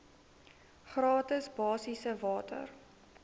gratis basiese water